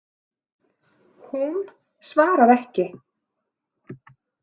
Hún svarar ekki.